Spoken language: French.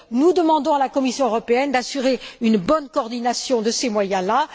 Nous demandons à la Commission européenne d'assurer une bonne coordination de ces moyens là.